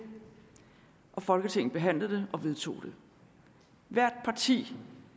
folketinget behandlede det og vedtog det hvert parti